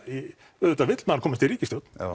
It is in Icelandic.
auðvitað vill maður komast í ríkisstjórn